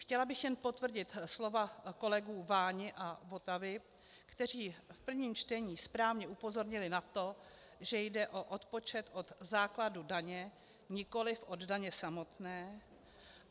Chtěla bych jen potvrdit slova kolegů Váni a Votavy, kteří v prvním čtení správně upozornili na to, že jde o odpočet od základu daně, nikoli od daně samotné.